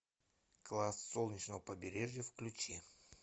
класс солнечного побережья включи